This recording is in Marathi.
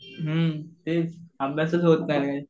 हुं तेच अभ्यासच होत नाहीये.